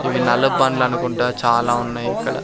ఇవి నల్ల పండ్లు అనుకుంటా చాలా ఉన్నాయి ఇక్కడ.